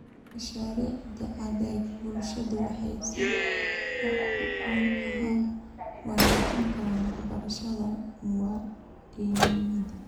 Mashaariicda adeega bulshadu waxay si wax ku ool ah u wanaajin karaan waxbarashada muwaadinimada.